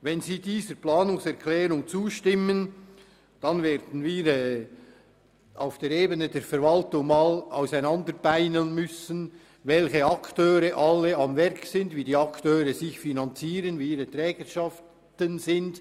Wenn Sie der Planungserklärung zustimmen, werden wir auf der Ebene der Verwaltung auseinandernehmen müssen, welche Akteure am Werk sind, wie sie sich finanzieren und welches ihre Trägerschaften ist.